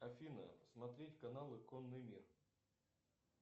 афина смотреть каналы конный мир